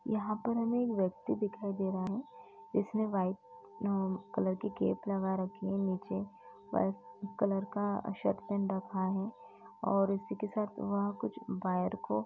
यहाँ पर हमें एक व्यक्ति दिखाई दे रहा है जिसने वाइट कलर की कैप लगा रखी है नीचे वाइट कलर का शर्ट पहन रखा है और इसी के साथ वहाँ कुछ वायर को --